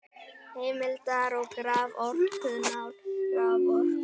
Heimildir og graf: Orkumál- Raforka.